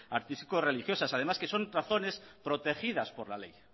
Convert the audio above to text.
artístico religiosas además que son razones protegidas por la ley